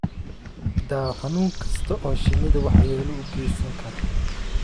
daaw xanuun kasta oo shinnida waxyeelo u geysan kara.